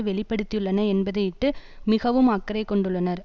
வெளிப்படுத்தியுள்ளன என்பதையிட்டு மிகவும் அக்கறை கொண்டுள்ளனர்